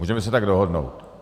Můžeme se tak dohodnout.